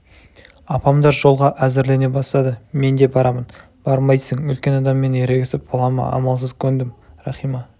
апамдар жолға әзірлене бастады мен де барамын бармайсың үлкен адаммен ерегісіп бола ма амалсыз көндім рахима